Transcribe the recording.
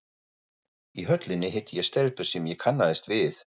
Í Höllinni hitti ég stelpu sem ég kannaðist við.